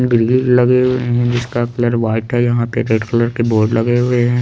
Building लगी हुई है जिसक कलर वाइट है यहाँ पे रेड कलर के बोर्ड लगे हुए है।